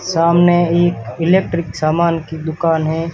सामने एक इलेक्ट्रिक सामान की दुकान है।